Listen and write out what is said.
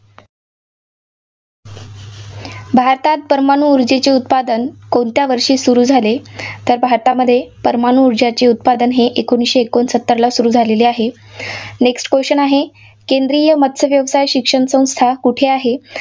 भारतात परमाणू ऊर्जेचे उत्पादन कोणत्या वर्षी सुरू झाले? तर भारतामध्ये परमाणू ऊर्जेचे उत्पादन हे एकोणीसशे एकोणसत्तरला सुरू झालेले आहे. next question आहे, केंद्रीय मत्स्य व्यवसाय शिक्षण संस्था कुठे आहे?